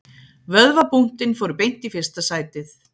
Vöðvabúntin fóru beint í fyrsta sætið